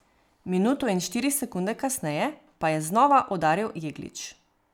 Minuto in štiri sekunde kasneje pa je znova udaril Jeglič.